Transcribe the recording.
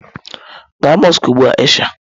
Gaa mọsk ugbu a Aisha!